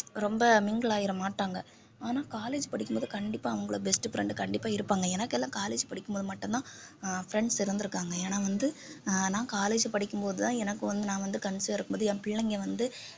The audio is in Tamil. ரொம்ப mingle ஆயிடமாட்டாங்க ஆனா college படிக்கும்போது கண்டிப்பா அவங்களோட best friend கண்டிப்பா இருப்பாங்க எனக்கெல்லாம் college படிக்கும்போது மட்டும்தான் அஹ் friends இருந்திருக்காங்க ஏன்னா வந்து ஆஹ் நான் college படிக்கும் போதுதான் எனக்கு வந்து நான் வந்து conceive ஆ இருக்கும்போது என் பிள்ளைங்க வந்து